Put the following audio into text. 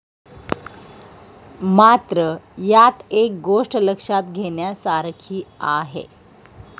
मात्र, यात एक गोष्ट लक्षात घेण्यासारखी आहे.